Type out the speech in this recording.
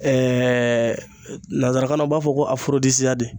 nanzarakan na u b'a fɔ ko